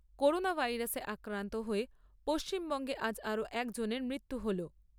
Corona ভাইরাসে আক্রান্ত হয়ে পশ্চিমবঙ্গে আজ আরও একজনের মৃত্যু হল।